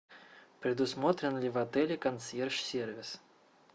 предусмотрен ли в отеле консьерж сервис